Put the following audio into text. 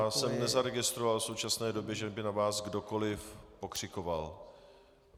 Já jsem nezaregistroval v současné době, že by na vás kdokoliv pokřikovat.